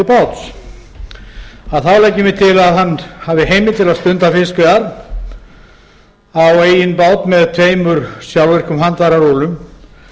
að hann hafi heimild til að að stunda fiskveiðar á eigin bát með tveimur sjálfvirkum handfærarúllum